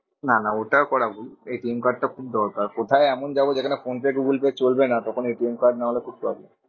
না না ওটা করা ভুল। card টা খুব দরকার। কোথায় এমন যাবো যে ফোনপে গুগলপে চলবে না তখন card নাহলে খুব problem.